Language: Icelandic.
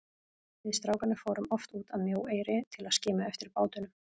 Við strákarnir fórum oft út að Mjóeyri til að skima eftir bátunum.